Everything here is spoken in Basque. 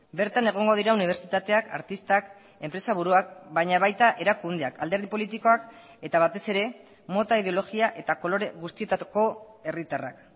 bertan egongo dira unibertsitateak artistak enpresa buruak baina baita erakundeak alderdi politikoak eta batez ere mota ideologia eta kolore guztietako herritarrak